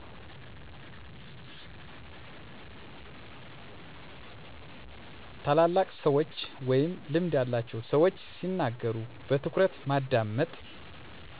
ታላላቅ ሰዎች ወይም ልምድ ያላቸው ሰዎች ሲናገሩ በትኩረት ማዳመጥ።